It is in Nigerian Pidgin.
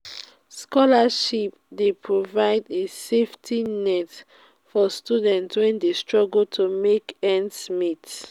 scholarships dey provide a safety net for students wey dey struggle to make ends meet.